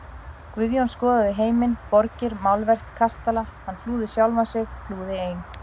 Guðjón skoðaði heiminn, borgir, málverk, kastala, hann flúði sjálfan sig, flúði ein